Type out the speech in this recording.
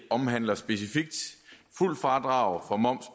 omhandler specifikt fuldt fradrag for moms